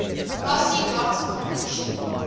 lossy data compression